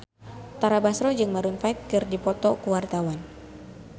Tara Basro jeung Maroon 5 keur dipoto ku wartawan